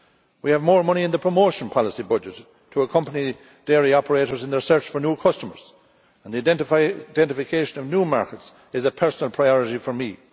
We have more money in the promotion policy budget to accompany dairy operators in their search for new customers, and the identification of new markets is a personal priority for me.